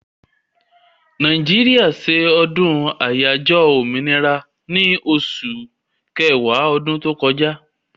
Nàìjíríà se ọdún àyájọ́ òmìnira ní osù ọ̀wàrà ọdún tó kọjá